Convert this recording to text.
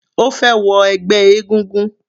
Ó fẹ́ wọ ẹgbẹ́ egúngún.